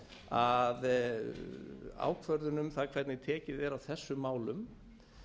að ákvörðun um það hvernig tekið er á þessum málum